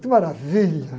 Que maravilha!